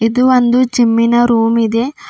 ಇದು ಒಂದು ಜಿಮ್ಮಿನ ರೂಮ್ ಇದೆ.